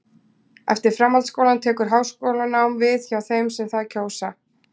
eftir framhaldsskólann tekur háskólanám við hjá þeim sem það kjósa